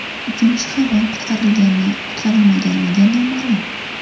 Uchinchi hayvon qutqarilgan-qutqarilmaganligi noma’lum.